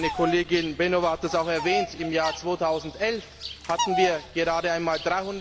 Meine Kollegin Flašíková Beňová hat das auch erwähnt Im Jahr 2011 hatten wir gerade einmal